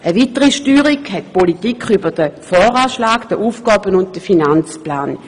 Eine weitere Steuerungsmöglichkeit hat die Politik über den Voranschlag und den Aufgaben/Finanzplan.